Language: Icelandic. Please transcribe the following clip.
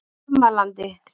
Bjarmalandi